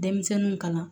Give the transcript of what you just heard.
Denmisɛnninw kalan